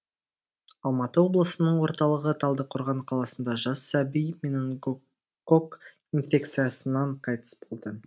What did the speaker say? алматы облысының орталығы талдықорған қаласында жас сәби менингококк инфекциясынан қайтыс болды